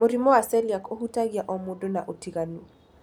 Mũrimũ wa celiac ũhutagia o mũndũ na ũtinganu.